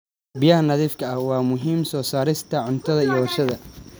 Biyaha nadiifka ah waa muhiim soo saarista cuntada iyo warshadaha.